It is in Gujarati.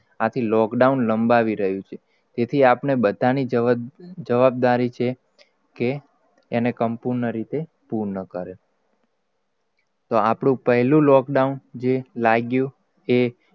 આથ lockdown લંબાવી રહયું છે. જેથી આપને બધા ની જવાબદારી છે કે સંપૂર્ણ રીતે પૂર્ણ કરે. તો આપડું પહેલુ lockdown જે લાગ્યું એ,